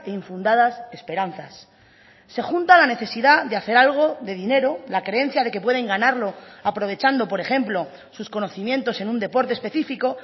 infundadas esperanzas se junta la necesidad de hacer algo de dinero la creencia de que pueden ganarlo aprovechando por ejemplo sus conocimientos en un deporte específico